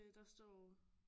Der står